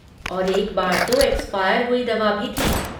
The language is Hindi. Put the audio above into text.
और एक बार तो एक्सपायर हुई दवा भी थी।